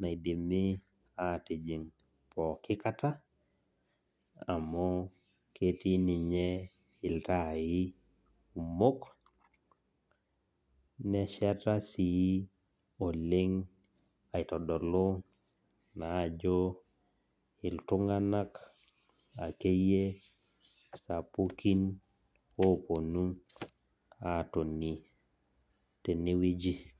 naidimi atijing pookin kata, amu ketii ninye iltaai kumok, neshata sii oleng' aitodolu naa ajo iltunganak akeyie sapukin ooponu aatoni tenewoji.